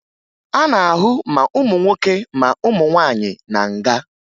A na-ahụ ma ụmụ nwoke ma ụmụ nwaanyị na nga